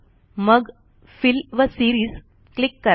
मग फिल व series click करा